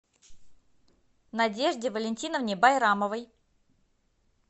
надежде валентиновне байрамовой